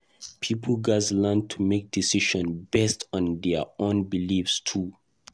Pipo gatz learn to make decisions based on their own beliefs too.